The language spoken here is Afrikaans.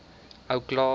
ou klaas